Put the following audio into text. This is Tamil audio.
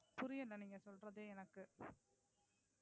புரியல நீங்க சொல்றதே எனக்கு.